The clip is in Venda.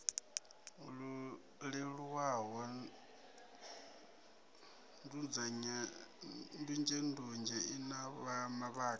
leluwaho ndunzhendunzhe i na mavhaka